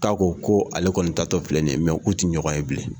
Tako ko ale kɔni tatɔ filɛ ni ye k'u tɛ ɲɔgɔn ye bilen.